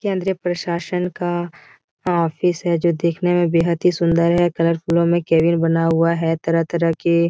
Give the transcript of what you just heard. ये केंद्रीय प्रशासन का ऑफिस है जो देखने में बेहद ही सुन्दर है कलरफूलों में केबिन बना हुआ है तरह- तरह के |